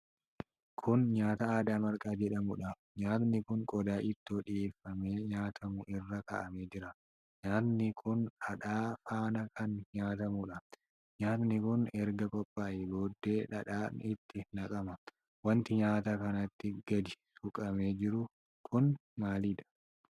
Kun nyaata aadaa marqaa jedhamuudha. Nyaati kun qodaa ittiin dhiyyeeffamee nyaatamu irra kaa'amee jira. Nyaati kun dhadhaa faana kan nyaatamuudha. Nyaati kun erga qophaa'ee booddee dhadhaan itti naqama. Wanti nyaata kanatti gadi suuqamee jiru kun maalidha?